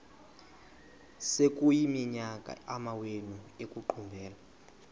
sekuyiminyaka amawenu ekuqumbele